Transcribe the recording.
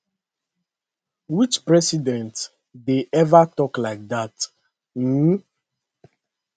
which president dey ever tok like dat um